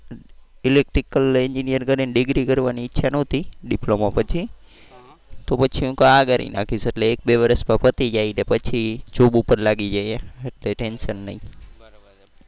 electrical engineer કરી degree કરવાની ઈચ્છા નહોતી diploma પછીતો પછી હું કવ આ કરી નાખીશ એક બે વર્ષ માં પતી જાય ને પછી job ઉપર લાગી જઈએ એટલે ટેન્શન નહીં.